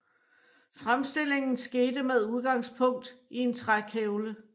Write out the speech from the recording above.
Fremstillingen skete med udgangspunkt i en trækævle